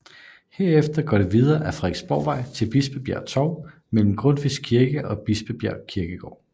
Herefter går det videre ad Frederiksborgvej til Bispebjerg Torv mellem Grundtvigs Kirke og Bispebjerg Kirkegård